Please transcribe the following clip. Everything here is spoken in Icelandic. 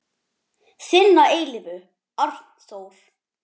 Þinn að eilífu, Arnþór.